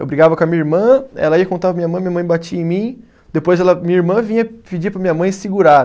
Eu brigava com a minha irmã, ela ia contar para minha mãe, minha mãe batia em mim, depois ela minha irmã vinha pedir para minha mãe segurar.